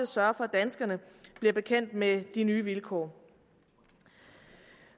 sørge for at danskerne bliver bekendt med de nye vilkår